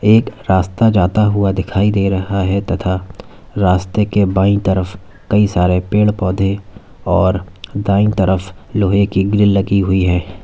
एक रास्ता जाता हुआ दिखाई दे रहा है तथा रास्ते के बाएं तरफ कई सारे पेड़ पौधे और दाएं तरफ लोहे की ग्रिल लगी हुई है।